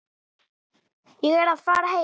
Ég er að fara heim.